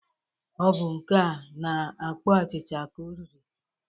Ọ bụ nke a na-akpọ achịcha ka o riri